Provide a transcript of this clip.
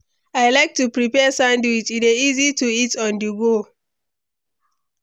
I like to prepare sandwich; e dey easy to eat on-the-go.